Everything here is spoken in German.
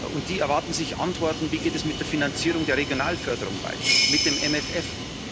Und sie erwarten sich Antworten Wie geht es mit der Finanzierung der Regionalförderung weiter, mit dem MFR?